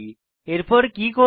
এরপর কি করব